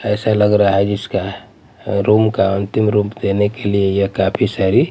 ऐसा लग रहा है जिसका रूम का अंतिम रूप देने के लिए यह काफी सारी--